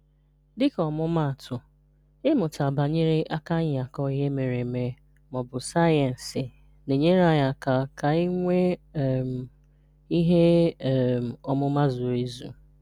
Dị́kà òmùmààtụ̀, ịmụ́tà banyerè àkànyà̀kọ̀ ìhè mèrè èmè ma ọ̀ bụ̀ sáyẹ̀nsì na-ényèré̀ ànyị̀ ka ànyị̀ nweè um ìhè um ọ̀múmà zurù èzù.